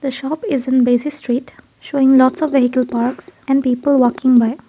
the shop is in basis street showing lots of vehicle parks and people working where.